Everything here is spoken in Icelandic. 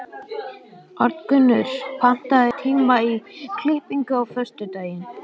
Arngunnur, pantaðu tíma í klippingu á föstudaginn.